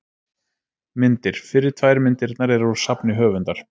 Myndir: Fyrri tvær myndirnar eru úr safni höfundar.